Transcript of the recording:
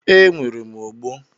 E, nwere m ogbo.